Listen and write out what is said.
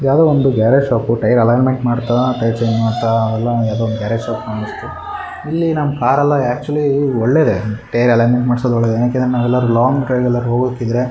ಯಾವದೋ ಒಂದು garage shop tyre alignment ಮಾಡತ್ತಾ ಟೈಯರ್ ಚೇಂಜ್ ಮಾಡತ್ತಾ ಅವೆಲ್ಲಾ ಯಾವದೋ ಗ್ಯಾರೇಜ್ ಶಾಪ್ ಅನ್ನಸ್ತು. ಇಲ್ಲಿ ನಮ್ಮ ಕಾರ್ ಎಲ್ಲಾ ಆಕ್ ಚುಲಿ ಒಳ್ಳೆದೇ ಟೈಯರ್ ಅಲೈನ್ ಮೆಂಟ್ ಮಾಡ್ಸೋದು ಒಳ್ಳೆದೇ ಯಾಕಂದ್ರೆ ನಾವೇಲ್ಲಾರು ಲಾಂಗ್ ಡ್ರೈವ್ ಎಲ್ಲಾರು ಹೋಗಕ್ ಇದ್ರೆ.